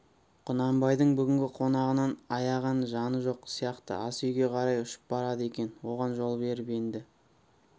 құнанбайдың бүгінгі қонағынан аяған жаны жоқ сияқты асүйге қарай ұшып барады екен оған жол беріп енді